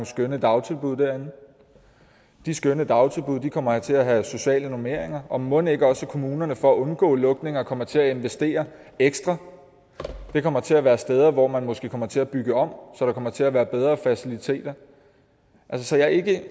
skønne dagtilbud derinde de skønne dagtilbud kommer til at have sociale normeringer og mon ikke også at kommunerne for at undgå lukninger kommer til at investere ekstra det kommer til at være steder hvor man måske kommer til at bygge om så der kommer til at være bedre faciliteter jeg siger ikke